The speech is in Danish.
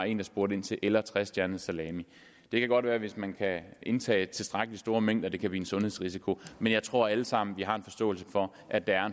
én spurgte til eller trestjernet salami det kan godt være hvis man kan indtage tilstrækkelig store mængder at det kan blive en sundhedsrisiko men jeg tror at vi alle sammen har en forståelse for at der er